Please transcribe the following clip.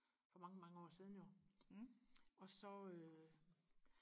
for mange mange år siden jo og så øh